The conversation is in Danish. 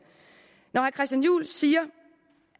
når herre christian juhl siger